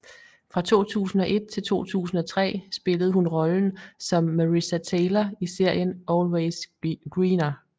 Fra 2001 til 2003 spillede hun rollen som Marissa Taylor i serien Always Greener